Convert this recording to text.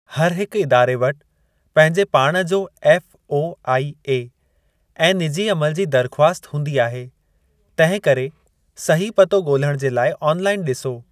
हर हिकु इदारे वटि पंहिंजे पाण जो एफ़ओआईए ऐं निजी अमल जी दरख़्वास्त हूंदी आहे, तिंहिं करे सही पतो ॻोल्हणु जे लाइ ऑनलाइन डि॒सो।